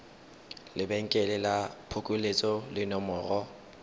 lebenkele la phokoletso le nomoro